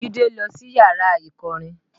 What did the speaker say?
Jide lọ sí yàrá ìkọrin